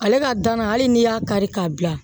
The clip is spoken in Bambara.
Ale ka dana hali n'i y'a kari k'a bila